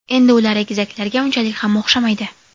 Endi ular egizaklarga unchalik ham o‘xshamaydi.